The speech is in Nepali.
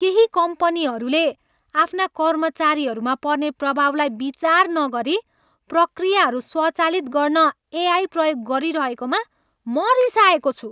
केही कम्पनीहरूले आफ्ना कर्मचारीहरूमा पर्ने प्रभावलाई विचार नगरी प्रक्रियाहरू स्वचालित गर्न एआई प्रयोग गरिरहेकोमा म रिसाएको छु।